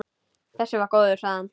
Þessi var góður, sagði hann.